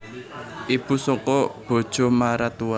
Ibu saka bojo maratua